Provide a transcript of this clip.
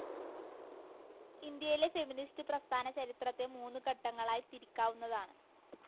ഇന്ത്യയിലെ ഫെമിനിസ്റ്റു പ്രസ്ഥാനചരിത്രത്തെ മൂന്നു ഘട്ടങ്ങളായി തിരിക്കാവുന്നതാണ്.